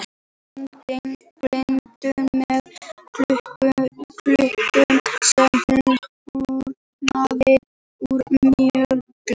Amma egndi gildrurnar með kúlum sem hún hnoðaði úr mjöli